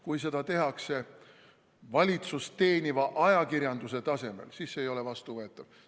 Kui seda tehakse valitsust teeniva ajakirjanduse tasemel, siis see ei ole vastuvõetav.